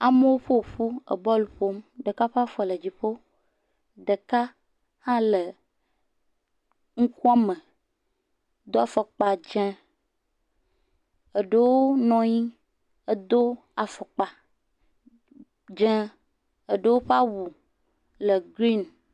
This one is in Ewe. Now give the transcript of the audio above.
Amewo ƒoƒu ebɔlu ƒom, ɖeka ƒe afɔ le dziƒo, ɖeka hã le ŋukuame do afɔkpa dzeŋ, eɖewo nɔnyi edo afɔkpa dzeŋ, eɖewo ƒe awu le greeni.